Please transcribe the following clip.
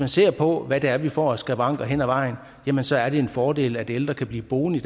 ser på hvad det er vi får af skavanker hen ad vejen så er det en fordel at ældre kan blive boende i